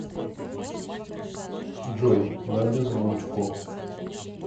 джой на беззвучку